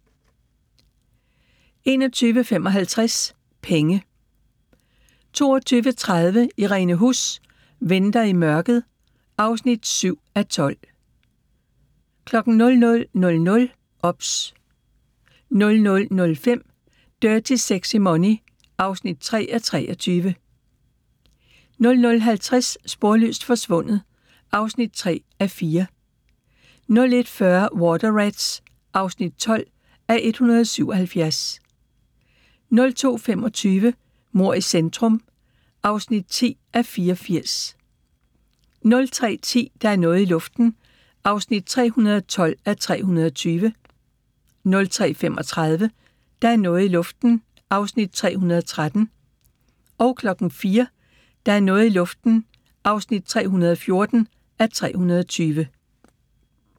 21:55: Penge 22:30: Irene Huss: Venter i mørket (7:12) 00:00: OBS 00:05: Dirty Sexy Money (3:23) 00:50: Sporløst forsvundet (3:4) 01:40: Water Rats (12:177) 02:25: Mord i centrum (10:84) 03:10: Der er noget i luften (312:320) 03:35: Der er noget i luften (313:320) 04:00: Der er noget i luften (314:320)